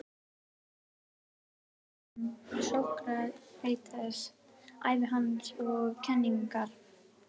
Í inngangi er fjallað um Sókrates, ævi hans og kenningar.